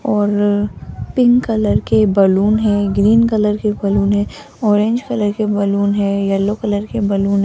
और pink colour के balloon हैं ग्रीन कलर के बैलून हैं ऑरेंज कलर के बैलून हैं येलो कलर के बैलून --